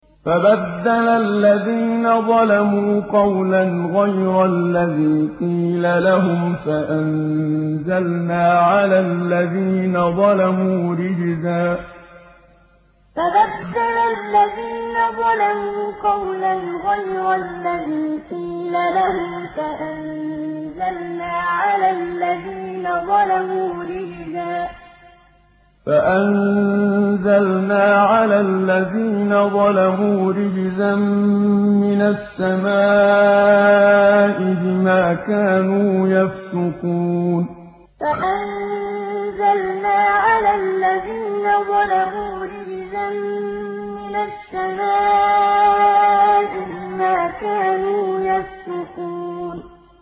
فَبَدَّلَ الَّذِينَ ظَلَمُوا قَوْلًا غَيْرَ الَّذِي قِيلَ لَهُمْ فَأَنزَلْنَا عَلَى الَّذِينَ ظَلَمُوا رِجْزًا مِّنَ السَّمَاءِ بِمَا كَانُوا يَفْسُقُونَ فَبَدَّلَ الَّذِينَ ظَلَمُوا قَوْلًا غَيْرَ الَّذِي قِيلَ لَهُمْ فَأَنزَلْنَا عَلَى الَّذِينَ ظَلَمُوا رِجْزًا مِّنَ السَّمَاءِ بِمَا كَانُوا يَفْسُقُونَ